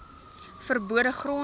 ver bode gronde